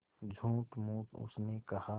झूठमूठ उसने कहा